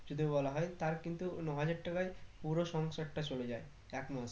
যদি বলা হয়ে তার কিন্তু ন হাজার টাকায় পুরো সংসারটা চলে যায় এক মাসে